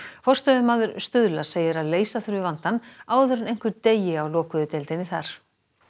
forstöðumaður Stuðla segir að leysa þurfi vandann áður en einhver deyi á lokuðu deildinni þar